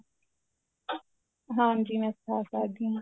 ਹਾਂਜੀ ਮੈਂ ਸਿਖਾ ਸਕਦੀ ਆ